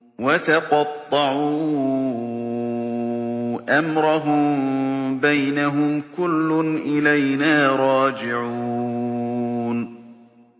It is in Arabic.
وَتَقَطَّعُوا أَمْرَهُم بَيْنَهُمْ ۖ كُلٌّ إِلَيْنَا رَاجِعُونَ